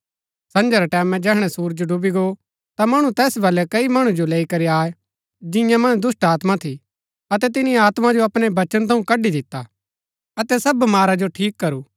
संझा रै टैमैं जैहणै सुरज डूबी गो ता मणु तैस बलै कई मणु जो लैई करी आये जिंआ मन्ज दुष्‍टात्मा थी अतै तिनी आत्मा जो अपणै बचन थऊँ कड़ी दिता अतै सब बमारा जो ठीक करू